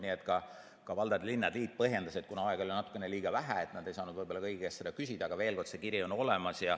Nii et ka valdade ja linnade liit põhjendas, et kuna aega oli natukene liiga vähe, siis nad ei saanud võib-olla kõigi käest küsida, aga see kiri on olemas.